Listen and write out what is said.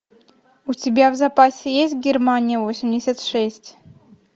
у тебя в запасе есть германия восемьдесят шесть